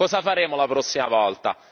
Cosa faremo la prossima volta?